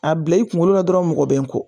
A bila i kunkolo la dɔrɔn mɔgɔ bɛ n kɔ